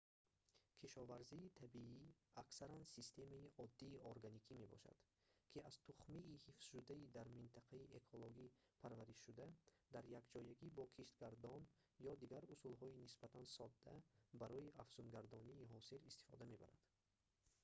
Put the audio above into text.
кишоварзии табиӣ аксаран системаи оддии органикӣ мебошад ки аз тухмии ҳифзшудаи дар минтақаи экологӣ парваришшуда дар якҷоягӣ бо киштгардон ё дигар усулҳои нисбатан содда барои афзунгардонии ҳосил истифода мебарад